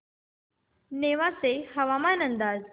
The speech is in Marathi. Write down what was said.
नेवासे हवामान अंदाज